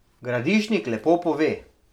Gradišnik lepo pove.